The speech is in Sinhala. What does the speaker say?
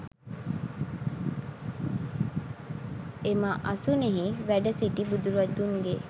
එම අසුනෙහි වැඩ සිටි බුදුරදුන්ගේ